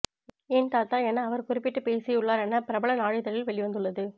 ஏன் தாத்தா என அவர் குறிபிட்டு பேசியுள்ளார் என பிரபல நாளிதழில் வெளிவந்துள்ளது